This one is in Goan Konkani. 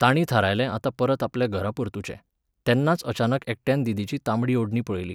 तांणी थारायलें आता परत आपल्या घरा परतुचें, तेन्नाच अचानक एकट्यान दिदीची तांबडी ओडणी पळयली.